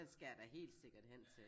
Den skal jeg da helt sikkert hen til